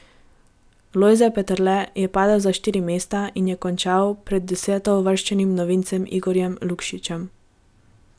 Lojze Peterle je padel za štiri mesta in je končal pred desetouvrščenim novincem Igorjem Lukšičem.